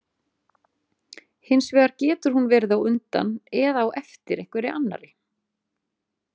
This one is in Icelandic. Hins vegar getur hún verið á undan eða á eftir einhverri annarri.